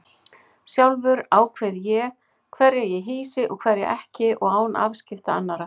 Sjálfur ákveð ég hverja ég hýsi og hverja ekki og án afskipta annarra.